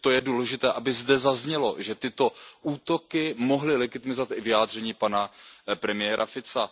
Myslím, že to je důležité, aby zde zaznělo, že tyto útoky mohla legitimizovat i vyjádření pana premiéra Fica.